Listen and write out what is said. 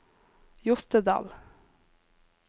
Jostedal